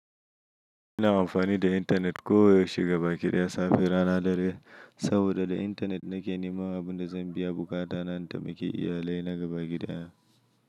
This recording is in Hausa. Ina amfani da intanet koyaushe gabaƙi daya safe rana dare, saboda da intanet nake neman abin da zan biya buƙata na in taimaki iyalai na ga baƙi da ya.